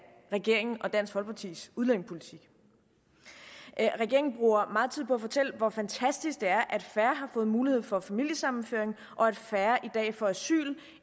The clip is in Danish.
regeringen og dansk folkepartis udlændingepolitik regeringen bruger meget tid på at fortælle hvor fantastisk det er at færre har fået mulighed for familiesammenføring og at færre i dag får asyl